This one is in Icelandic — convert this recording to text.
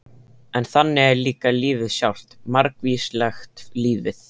En þannig er líka lífið sjálft- margvíslegt lífið.